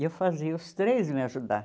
E eu fazia os três me ajudar.